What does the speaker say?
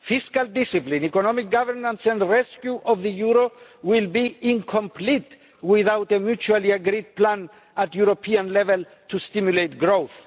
Fiscal discipline, economic governance and the rescue of the euro will be incomplete without a mutually agreed plan at European level to stimulate growth.